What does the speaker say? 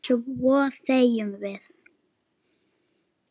Svo þegjum við.